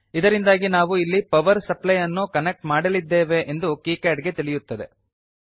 ಇದರಿಂದಾಗಿ ನಾವು ಇಲ್ಲಿ ಪವರ್ ಸಪ್ಲೈ ಅನ್ನು ಕನೆಕ್ಟ್ ಮಾಡಲಿದ್ದೇವೆ ಎಂದು ಕೀಕ್ಯಾಡ್ ಗೆ ತಿಳಿಯುತ್ತದೆ